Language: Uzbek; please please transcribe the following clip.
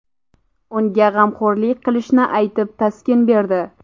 Unga g‘amxo‘rlik qilishini aytib taskin berdi.